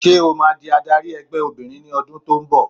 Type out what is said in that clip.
Ṣẹ́ o máa di adarí ẹgbẹ́ obìnrin ní ọdún tó ń bọ̀.